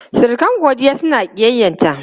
Surukan Godiya suna ƙiyyayta.